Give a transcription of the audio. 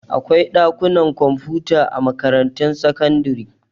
Akwai ɗakunan kwamfuta a makarantun sakandare.